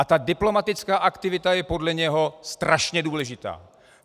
A ta diplomatická aktivita je podle něho strašně důležitá.